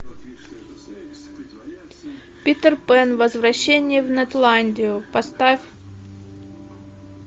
питер пэн возвращение в нетландию поставь